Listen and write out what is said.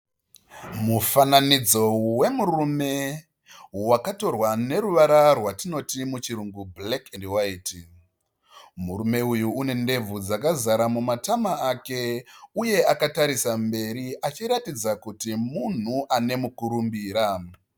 Mufananidzo wemurume wakatorwa neruvara rwatinoti muchirungu 'black & white ', murume uyu une ndebvu dzakazara mumatama ake, uye akatarisa mberi achiratidza kuti munhu ane mukurumbira.